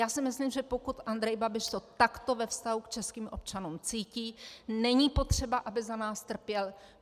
Já si myslím, že pokud Andrej Babiš to takto ve vztahu k českým občanům cítí, není potřeba, aby za nás trpěl.